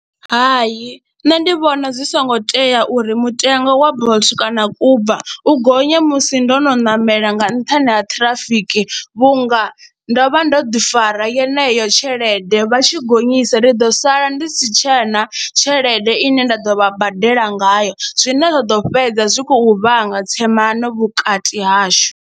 Hai, nṋe ndi vhona zwi songo tea uri mutengo wa Bolt kana Uber u gonya musi ndo no ṋamela nga nṱhani ha ṱhirafiki vhunga ndo vha ndo ḓifara yeneyo tshelede vha tshi gonyisa ndi ḓo sala ndi si tshe na tshelede ine nda ḓo vha badela ngayo zwine zwa ḓo fhedza zwi khou vhanga tsemano vhukati hashu.